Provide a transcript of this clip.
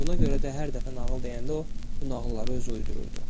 Buna görə də hər dəfə nağıl deyəndə o bu nağılları özü uydururdu.